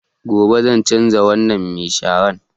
Gobe zan canza wannan mai sharan